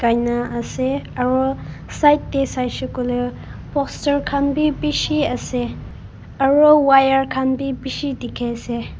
aina ase aro side te saishe koile poster khan bi bishi ase aro wire khan bi bishi dikhi ase.